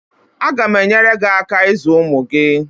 Aga m enyere gị aka ịzụ ụmụ gị.